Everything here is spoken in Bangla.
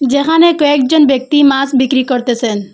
যেখানে কয়েকজন ব্যক্তি মাস বিক্রি করতেসেন।